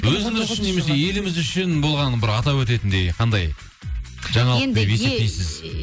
өзіңіз үшін немесе еліміз үшін болған бір атап өтетіндей қандай жаңалық деп есептейсіз